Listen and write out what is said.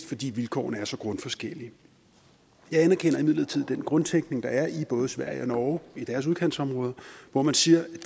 fordi vilkårene er så grundforskellige jeg anerkender imidlertid den grundtænkning der er i både sverige og norge i deres udkantsområder hvor man siger